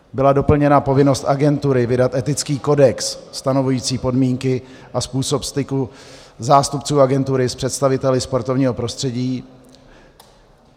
Byla doplněna povinnost agentury vydat etický kodex stanovující podmínky a způsob styku zástupců agentury s představiteli sportovního prostředí.